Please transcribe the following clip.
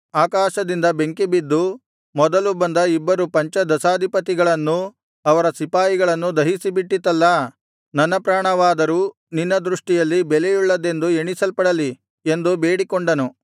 ಆಕಾಶದಿಂದ ಬೆಂಕಿಬಿದ್ದು ಮೊದಲು ಬಂದ ಇಬ್ಬರು ಪಂಚದಶಾಧಿಪತಿಗಳನ್ನೂ ಅವರ ಸಿಪಾಯಿಗಳನ್ನೂ ದಹಿಸಿಬಿಟ್ಟಿತಲ್ಲಾ ನನ್ನ ಪ್ರಾಣವಾದರೂ ನಿನ್ನ ದೃಷ್ಟಿಯಲ್ಲಿ ಬೆಲೆಯುಳ್ಳದ್ದೆಂದು ಎಣಿಸಲ್ಪಡಲಿ ಎಂದು ಬೇಡಿಕೊಂಡನು